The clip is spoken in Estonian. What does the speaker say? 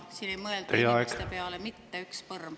Siin ei mõelda inimeste peale mitte üks põrm.